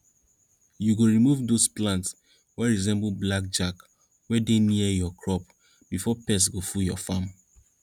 you go remove dose plants wey resemble black jack wey dey near your crops before pests full your farm